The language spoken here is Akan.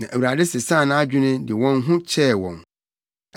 Na Awurade sesaa nʼadwene de wɔn ho kyɛɛ wɔn.